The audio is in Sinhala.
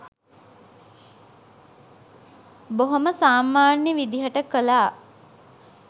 බොහොම සාමාන්‍ය විදිහට කළා.